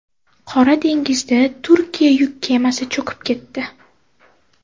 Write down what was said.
Qora dengizda Turkiya yuk kemasi cho‘kib ketdi.